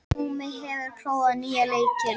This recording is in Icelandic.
Húmi, hefur þú prófað nýja leikinn?